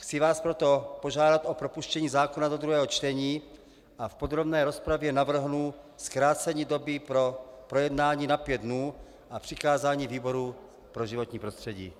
Chci vás proto požádat o propuštění zákona do druhého čtení a v podrobné rozpravě navrhnu zkrácení doby pro projednání na pět dnů a přikázání výboru pro životní prostředí.